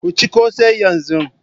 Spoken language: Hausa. Ku ci kose yanzu.